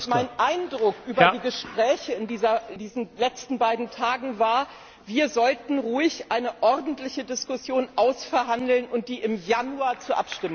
Mein Eindruck aus den Gesprächen in diesen letzten beiden Tagen war Wir sollten ruhig eine ordentliche Diskussion ausverhandeln und die im Januar zur Abstimmung stellen.